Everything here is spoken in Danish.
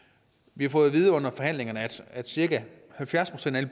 vi har fået at vide under forhandlingerne at cirka halvfjerds procent af